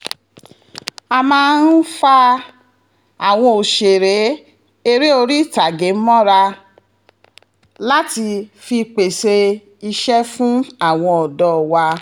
a máa fa àwọn òṣèré eré oríìtage mọ́ra láti fi pèsè iṣẹ́ fún àwọn ọ̀dọ́ wa